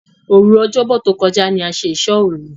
Òru Ọ̀jọ́bọ̀ tó kọjá ní a ṣe ìsóòru.